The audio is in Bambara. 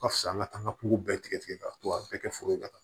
Ka fisa an ka taaga pogo bɛɛ tigɛ tigɛ ka to a bɛɛ kɛ foro ye ka taa